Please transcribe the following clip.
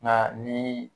Nka ni